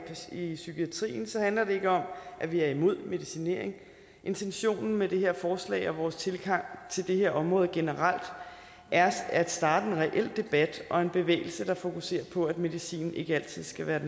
i psykiatrien handler det ikke om at vi er imod medicinering intentionen med det her forslag og vores tilgang til det her område generelt er at starte en reel debat og en bevægelse der fokuserer på at medicin ikke altid skal være